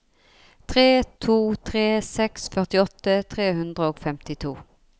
tre to tre seks førtiåtte tre hundre og femtito